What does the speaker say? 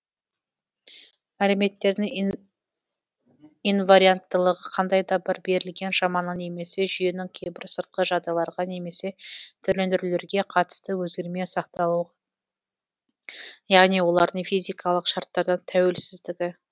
мәліметтердің инварианттылығы қандай да бір берілген шаманың немесе жүйенің кейбір сыртқы жағдайларға немесе түрлендірулерге қатысты өзгермей сақталуы яғни олардың физикалық шарттардан тәуелсіздігі